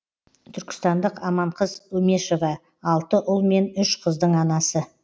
түркістандық аманқыз өмешова алты ұл мен үш қыздың анасы